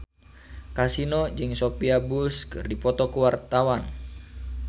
Kasino jeung Sophia Bush keur dipoto ku wartawan